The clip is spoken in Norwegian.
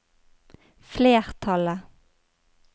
flertallet